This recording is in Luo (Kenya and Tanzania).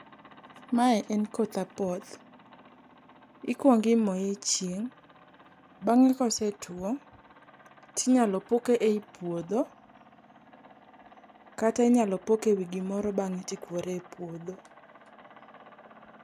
Mae en koth apoth. Ikuong imoye e chieng', bang'e kosetuo, ti inyalo puke ei puodho, kata inyalo poke ewi gimoro bang'e to ikuore e puodho